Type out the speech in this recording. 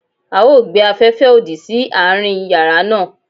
A o gbe afẹfẹ odi si aarin yara naa